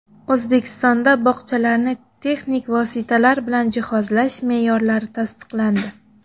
O‘zbekistonda bog‘chalarni texnik vositalar bilan jihozlash me’yorlari tasdiqlandi.